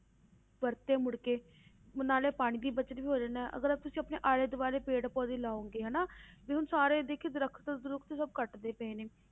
ਵਰਤੇ ਮੁੜ ਕੇ ਨਾਲੇ ਉਹ ਪਾਣੀ ਦੀ ਬਚਤ ਵੀ ਹੋ ਜਾਂਦੀ ਅਗਰ ਤੁਸੀਂ ਆਪਣੇ ਆਲੇ ਦੁਆਲੇ ਪੇੜ ਪੌਦੇ ਲਾਓਗੇ ਹਨਾ ਵੀ ਹੁਣ ਸਾਰੇ ਦੇਖੀ ਦਰਖ਼ਤ ਦਰੁੱਖ਼ਤ ਸਭ ਕੱਟਦੇ ਪਏ ਨੇ,